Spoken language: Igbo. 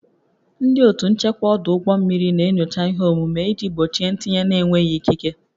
Ndị otu nchekwa ọdụ ụgbọ mmiri na-enyocha ihe omume iji gbochie ntinye na-enweghị ikike